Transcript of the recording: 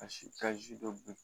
Ka si ka zi dɔ